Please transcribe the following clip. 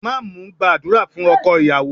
Imam ń gbàdúrà fún ọkọ ìyàwó